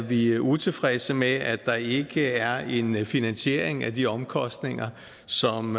vi utilfredse med at der ikke er en finansiering af de omkostninger som